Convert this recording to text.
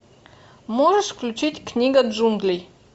можешь включить книга джунглей